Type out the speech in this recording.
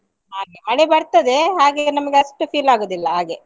ಹಾಗೆ ಮಳೆ ಬರ್ತದೆ ಹಾಗೆ ನಮ್ಗೆ ಅಷ್ಟು feel ಆಗುದಿಲ್ಲ ಹಾಗೆ.